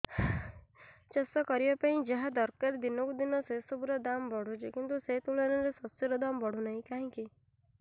ଚାଷ କରିବା ପାଇଁ ଯାହା ଦରକାର ଦିନକୁ ଦିନ ସେସବୁ ର ଦାମ୍ ବଢୁଛି କିନ୍ତୁ ସେ ତୁଳନାରେ ଶସ୍ୟର ଦାମ୍ ବଢୁନାହିଁ କାହିଁକି